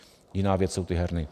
Jiná věc jsou ty herny.